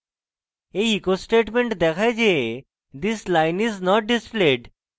এই echo statement দেখায় যে this line is not displayed